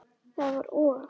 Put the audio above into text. Það var og!